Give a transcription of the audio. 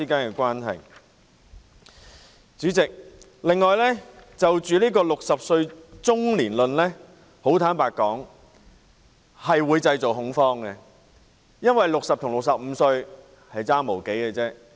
坦白說，主席 ，"60 歲中年論"的說法會製造恐慌，因為60歲與65歲相差無幾。